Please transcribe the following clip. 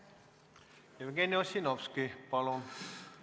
Jevgeni Ossinovski, palun!